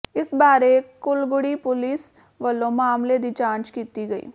ਇਸ ਬਾਰੇ ਕੁੱਲਗੜ੍ਹੀ ਪੁਲੀਸ ਵੱਲੋਂ ਮਾਮਲੇ ਦੀ ਜਾਂਚ ਕੀਤੀ ਗਈ